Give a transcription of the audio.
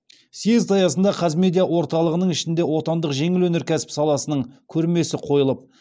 съезд аясында қазмедиа орталығының ішінде отандық жеңіл өнеркәсіп саласының көрмесі қойылып